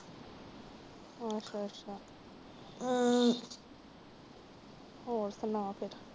ਅੱਛਾ ਅੱਛਾ। ਹੋਰ ਸੁਣਾ ਫਿਰ।